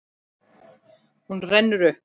Hún rennur upp.